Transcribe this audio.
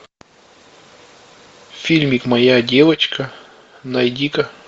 фильмик моя девочка найди ка